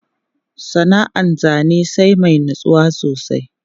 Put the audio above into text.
Sana'an zane sai mai natsuwa sosai.